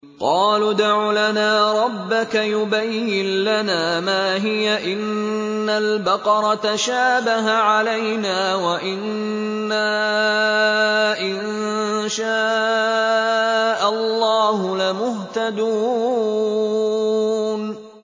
قَالُوا ادْعُ لَنَا رَبَّكَ يُبَيِّن لَّنَا مَا هِيَ إِنَّ الْبَقَرَ تَشَابَهَ عَلَيْنَا وَإِنَّا إِن شَاءَ اللَّهُ لَمُهْتَدُونَ